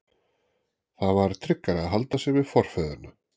Það var tryggara að halda sig við forfeðurna.